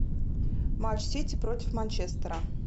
матч сити против манчестера